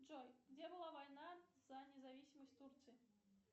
джой где была война за независимость турции